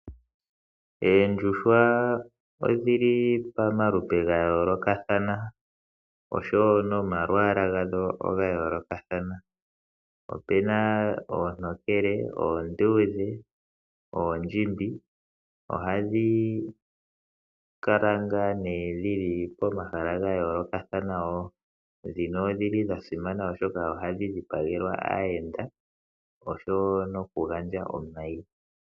Oondjuhwa odhili pamaludhi gayoolokathana oshowo nomalwaalagadho ogayoolokathana. Opena oontokele, oonduudhe, oondjimbi ohadhi kala dhili pomahala gayoolokathana. Odha simana oshoka ohadhi dhipagelwa aayenda oshowo okuga ndja omayi.